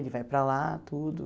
Ele vai para lá, tudo.